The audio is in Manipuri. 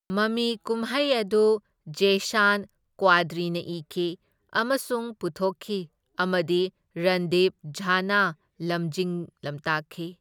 ꯃꯃꯤ ꯀꯨꯝꯍꯩ ꯑꯗꯨ ꯖꯦꯏꯁꯥꯟ ꯀ꯭ꯋꯥꯗ꯭ꯔꯤꯅ ꯏꯈꯤ ꯑꯃꯁꯨꯡ ꯄꯨꯊꯣꯛꯈꯤ ꯑꯃꯗꯤ ꯔꯟꯗꯤꯞ ꯓꯥꯅ ꯂꯝꯖꯤꯡ ꯂꯝꯇꯥꯛꯈꯤ꯫